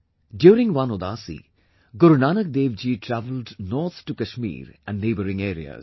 During one Udaasi, Gurunanak Dev Ji travelled north to Kashmir and neighboring areas